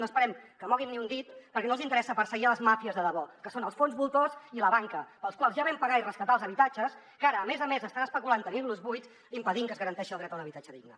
no esperem que moguin ni un dit perquè no els interessa perseguir les màfies de debò que són els fons voltors i la banca pels quals ja vam pagar i rescatar els habitatges que ara a més a més estan especulant tenint los buits impedint que es garanteixi el dret a un habitatge digne